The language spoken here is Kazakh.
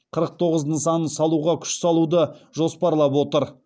қырық тоғыз нысанын салуға күш салуды жоспарлап отыр